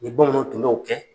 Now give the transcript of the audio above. Ni bamananw tun b'o kɛ